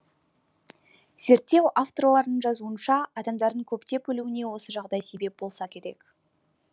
зерттеу авторларының жазуынша адамдардың көптеп өлуіне осы жағдай себеп болса керек